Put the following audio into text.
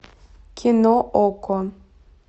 кино окко